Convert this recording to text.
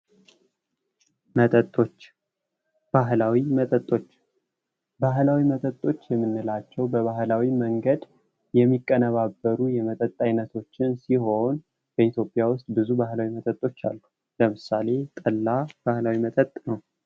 መጠጦች ባህላዊ መጠጦች ባህላዊ መጠጦች የምንላቸው በባህላዊ መንገድ የሚቀነባበሩ የመጠጥ አይነቶችን ሲሆን በኢትዮጵያ ውስጥ ብዙ ባህላዊ መጠጦች አሉ። ለምሳሌ ጠላ ባህላዊ መጠጥ ነው።